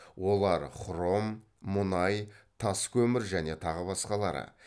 олар хром мұнай тас көмір және тағы басқалары